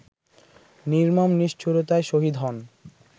নির্মম নিষ্ঠুরতায় শহীদ হন